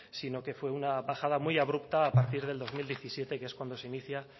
sino que fue una bajada muy abrupta a partir del dos mil diecisiete que es cuando se inicia